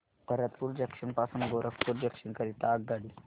Bharatpur junction पासून Gorakhpur junction करीता आगगाडी